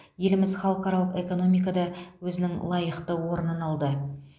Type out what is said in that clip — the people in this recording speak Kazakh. еліміз халықаралық экономикада өзінің лайықты орнын алды